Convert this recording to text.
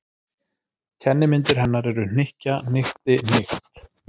Kennimyndir hennar eru: hnykkja- hnykkti- hnykkt.